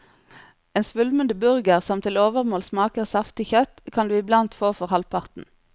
En svulmende burger, som til overmål smaker saftig kjøtt, kan du iblant få for halvparten.